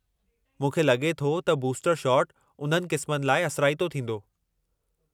मूंखे लॻे थो त बूस्टर शॉट उन्हनि क़िस्मनि लाइ असराइतो थींदो।